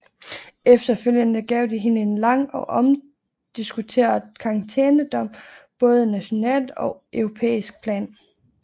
Efterfølgende gav det hende en lang og omdiskuteret karantænedom både nationalt og på europæisk plan